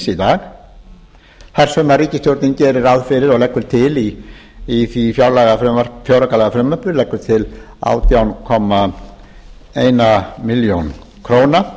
dag þar sem ríkisstjórnin gerir ráð fyrir og leggur til í því fjáraukalagafrumvarpi átján komma eina milljón króna